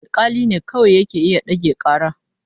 Alƙali ne kawai zai iya ɗage ƙara.